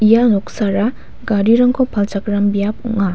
ia noksara garirangko palchakram biap ong·a.